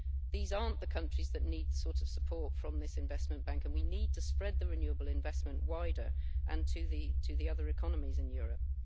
These aren't the countries that need the sort of support from this investment bank, and we need to spread the renewable investment wider and to the other economies in Europe.